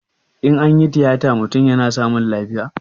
In anyi tiyata mutum yana samun lafiya?